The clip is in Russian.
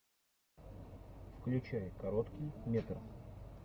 включай короткий метр